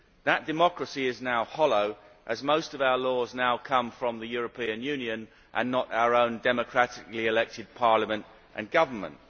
That democracy is now hollow, as most of our laws now come from the European Union and not our own democratically elected Parliament and government.